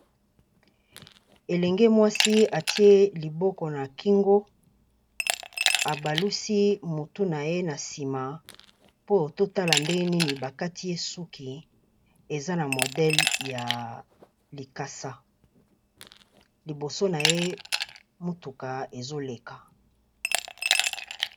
Élenge mwasi atié liboko na kingo abalusi motu na ye na nsima po totala nde nini bakati ye suki eza na modèle ya likasa liboso na ye motuka ezoléka.